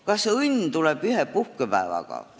Kas õnn tuleb ühe puhkepäevaga?